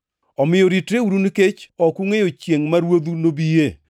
“Omiyo ritreuru nikech ok ungʼeyo chiengʼ ma Ruodhu nobie.